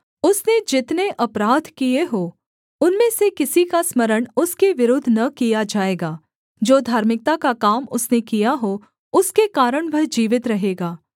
उसने जितने अपराध किए हों उनमें से किसी का स्मरण उसके विरुद्ध न किया जाएगा जो धार्मिकता का काम उसने किया हो उसके कारण वह जीवित रहेगा